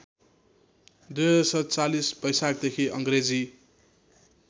२०४७ बैशाखदेखि अङ्ग्रेजी